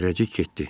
Zərrəcik getdi.